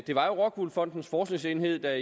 var rockwool fondens forskningsenhed der